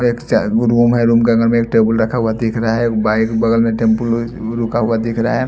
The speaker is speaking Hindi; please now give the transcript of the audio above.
रूम है रूम के अंदर में एक टेबल रखा हुआ दिख रहा है बाइक बगल में टमपू रुका हुआ दिख रहा है।